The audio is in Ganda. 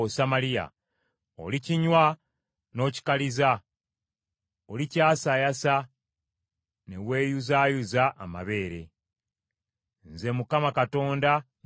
Olikinywa n’okikaliza; olikyasaayasa, ne weeyuzaayuza amabeere. Nze Mukama Katonda, nkyogedde.